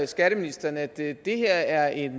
skatteministeren at det her er et